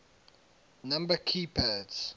number key pads